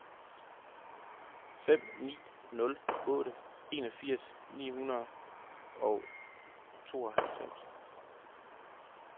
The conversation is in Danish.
fem ni nul otte enogfirs ni hundrede og tooghalvfems